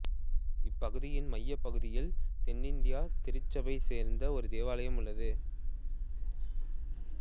இப்பகுதியின் மையப்பகுதியில் தென் இந்தியத் திருச்சபையைச் சேர்ந்த ஒரு தேவாலையம் உள்ளது